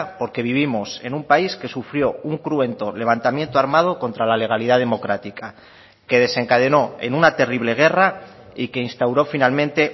porque vivimos en un país que sufrió un cruento levantamiento armado contra la legalidad democrática que desencadenó en una terrible guerra y que instauró finalmente